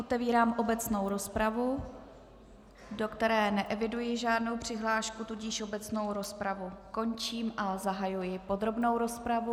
Otevírám obecnou rozpravu, do které neeviduji žádnou přihlášku, tudíž obecnou rozpravu končím a zahajuji podrobnou rozpravu.